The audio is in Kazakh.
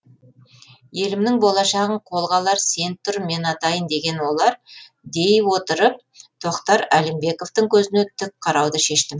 елімнің болашағын қолға алар сен тұр мен атайын деген олар дей отырып тохтар алимбековтың көзіне тік қарауды шештім